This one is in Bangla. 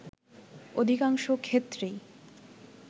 অধিকাংশ ক্ষেত্রেই